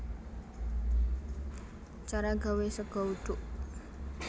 Cara gawé sega uduk